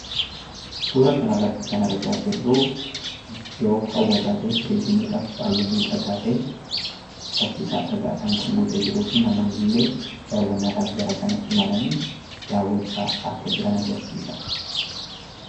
Suura kanarratti kan argaa jirru iddoo hawwataa ta'e, turizimiidhaaf baay'ee miidhaga ta'e, laftisaa dhagaadhaan kan guutee jiruu fi namoonni illee daawwannaadhaaf gara sana imalanii daawwachaa akka jiran agarsiisa.